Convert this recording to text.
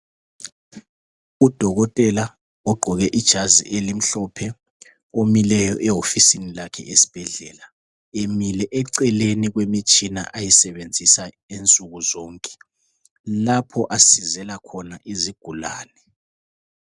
Udokotela ogqoke ijazi elimhlophe omileyo ehofisini lakhe esibhedlela emile eceleni kwemitshina ayisebenzisa insuku zonke lapho asizela khona izigulane.